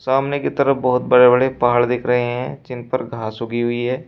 सामने की तरफ बहोत बड़े बड़े पहाड़ दिख रहे हैं जिन पर घास उगी हुई है।